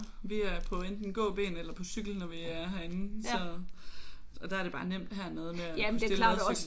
Vi er på enten gåben eller på cykel når vi er herinde så der er det bare nemt hernede med at kunne stille ladcyklen